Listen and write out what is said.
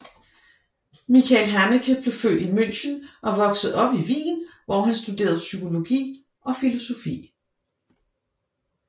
Michael Haneke blev født i München og voksede op i Wien hvor han studerede psykologi og filosofi